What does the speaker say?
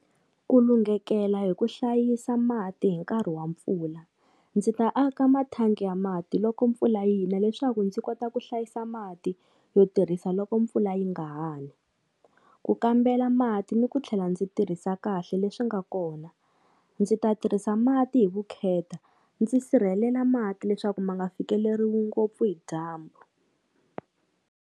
Ku lunghekela hi ku hlayisa mati hi nkarhi wa mpfula, ndzi ta aka mathangi ya mati loko mpfula yina leswaku ndzi kota ku hlayisa mati yo tirhisa loko mpfula yi nga ha ni. Ku kambela mati ni ku tlhela ndzi tirhisa kahle leswi nga kona, ndzi ta tirhisa mati hi vukheta ndzi sirhelela mati leswaku ma nga fikeleriwi ngopfu hi dyambu.